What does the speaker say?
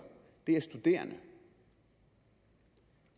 er studerende det